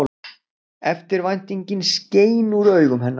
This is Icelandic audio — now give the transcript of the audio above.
Eftirvæntingin skein úr augum hennar.